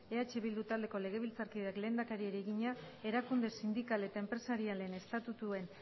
eh bildu taldeko legebiltzarkideak lehendakariari egina erakunde sindikal eta enpresarialen estatutuen